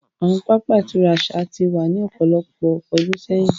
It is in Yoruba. Awọn pápá ìturá aṣa ti wa ni ọpọlọpọ ọdun sẹyin.